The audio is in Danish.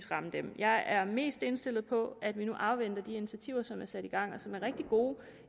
ramme dem jeg er mest indstillet på at vi nu afventer de initiativer som er sat i gang og som er rigtig gode